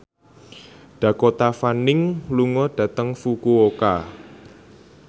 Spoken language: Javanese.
Dakota Fanning lunga dhateng Fukuoka